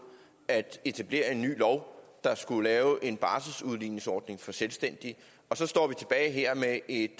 at etablere en ny lov der skulle lave en barselsudligningsordning for selvstændige og så står vi tilbage her med et